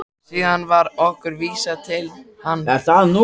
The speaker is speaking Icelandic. Síðan var okkur vísað inn til hans.